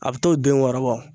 A bi t'o den wɔɔrɔ bɔ